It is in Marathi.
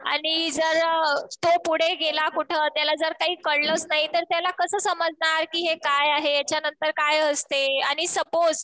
आणि जर तो पुढे गेला कुठं तर त्याला जर काही कळलंच नाही तर त्याला कसं समजणार कि हे काय आहे. यांच्यानंतर काय असते. आणि सपोझ